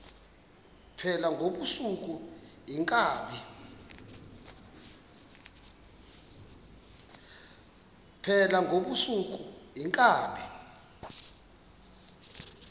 phala ngobusuku iinkabi